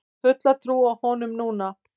Hef fulla trú á honum núna.